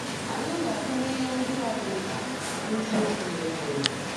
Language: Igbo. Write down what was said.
Anyị ga-atụle ihe ndị a dị mkpa n’isiokwu na-esonụ.